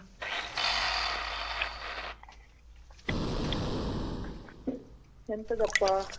ಯಂತಾದ್ ಅಪ್ಪ